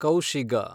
ಕೌಶಿಗ